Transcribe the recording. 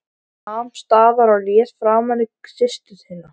Hann nam staðar og leit framan í systur sína.